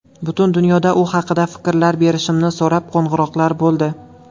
Butun dunyodan u haqida fikrlar berishimni so‘rab qo‘ng‘iroqlar bo‘ldi.